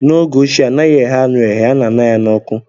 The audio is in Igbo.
n'oge ochie anaghị eghe anụ eghe, a na aṅa ya n'ọkụ